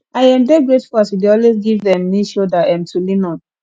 i um dey grateful as you dey always give um me shoulder um to lean on